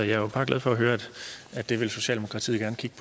jo bare glad for at høre at det vil socialdemokratiet gerne kigge